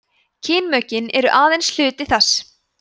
kynmökin eru aðeins hluti þess